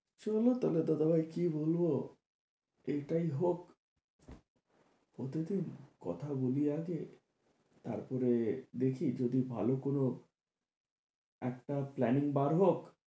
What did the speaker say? চলো তাহলে দাদাভাই কি বলবো? এটাই হোক ওদের কে কথা বলি আগে তারপরে দেখি যদি ভালো কোনো একটা plan বার হোক,